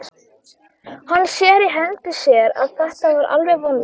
Hann sér í hendi sér að þetta er alveg vonlaust.